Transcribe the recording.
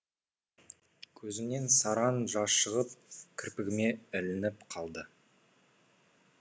көзімнен сараң жас шығып кірпігіме ілініп қалды